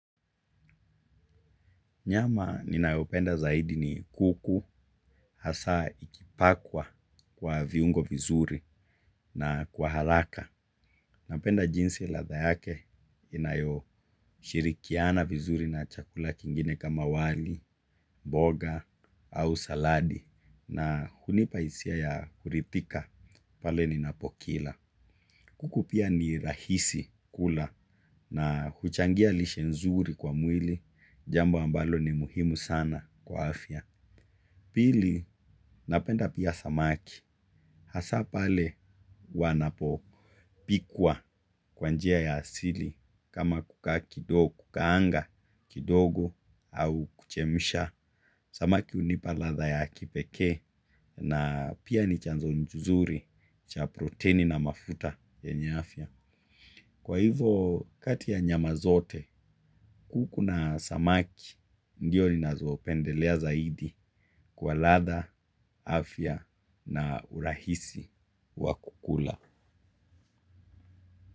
Nyama ninayopenda zaidi ni kuku hasa ikipakwa kwa viungo vizuri na kwa haraka. Napenda jinsi latha yake inayoshirikiana vizuri na chakula kingine kama wali, mboga au saladi na hunipaisia ya kuritika pale ninapokila. Kuku pia ni rahisi kula na huchangia lishe nzuri kwa mwili jambo ambalo ni muhimu sana kwa afya. Pili, napenda pia samaki. Hasa pale wanapopikwa kwanjia ya asili kama kuka kidogo, kukaanga, kidogo au kuchemisha. Samaki unipa latha ya kipeke na pia ni chanzo nzuri cha proteini na mafuta yenye afya. Kwa hivo kati ya nyama zote, kuku na samaki, ndio ninazopendelea zaidi kwa latha, afya na urahisi wa kukula.